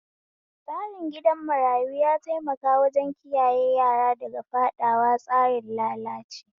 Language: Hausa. Tsarin gidan marayu ya taimaka wajen kiyaye yara daga faɗawa tsarin lalace